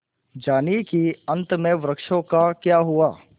जानिए कि अंत में वृक्षों का क्या हुआ